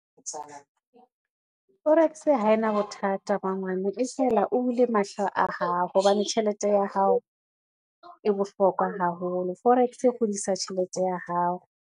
Forex ha e na bothata mangwane e fela o bule mahlo a hao, hobane tjhelete ya hao e bohlokwa haholo. Forex e hodisa tjhelete ya hao.